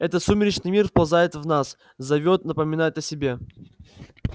это сумеречный мир вползает в нас зовёт напоминает о себе